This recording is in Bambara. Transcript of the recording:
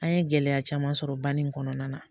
An ye gɛlɛya caman sɔrɔ ba nin kɔnɔna na